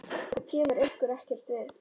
Það kemur ykkur ekkert við.